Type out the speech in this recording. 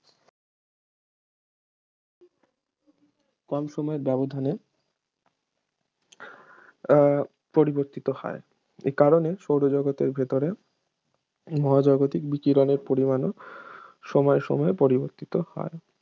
কম সময়ের ব্যবধানে আহ পরিবর্তিত হয় এ কারণে সৌরজগতের ভেতরে মহাজাগতিক বিকিরণের পরিমাণও সময় সময় পরিবর্তিত হয়